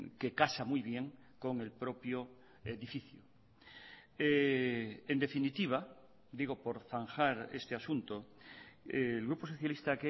que casa muy bien con el propio edificio en definitiva digo por zanjar este asunto el grupo socialista